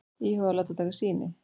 Íhuga að láta taka sýni